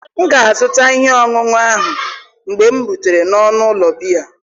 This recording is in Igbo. M ga-azụta ihe ọṅụṅụ ahụ mgbe m rutere n'ọnụ ụlọ biya.